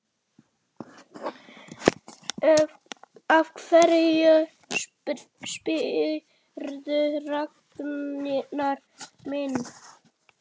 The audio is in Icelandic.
Af hverju spyrðu, Ragnar minn?